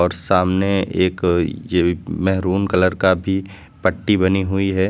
सामने एक ये भी मेहरून कलर का भी पट्टी बनी हुई है।